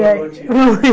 Chegou a notícia.